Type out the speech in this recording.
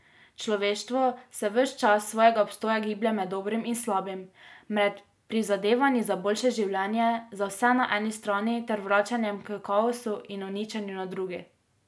Človeštvo se ves čas svojega obstoja giblje med dobrim in slabim, med prizadevanji za boljše življenje za vse na eni strani ter vračanjem h kaosu in uničenju na drugi.